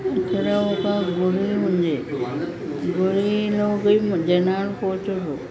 ఇక్కడ ఒక గుడి ఉంది గుడి లోకి జనాలు పోతుండరు ।